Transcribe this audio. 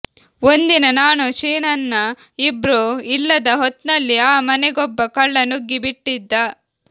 ಒಂದಿನ ನಾನು ಶೀನಣ್ಣ ಇಬ್ರೂ ಇಲ್ಲದ ಹೊತ್ನಲ್ಲಿ ಆ ಮನೆಗೊಬ್ಬ ಕಳ್ಳ ನುಗ್ಗಿ ಬಿಟ್ಟಿದ್ದ